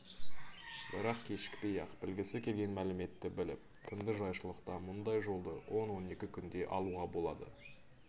бірақ кешікпей-ақ білгісі келген мәліметті біліп тынды жайшылықта мұндай жолды он он екі күнде алуға болады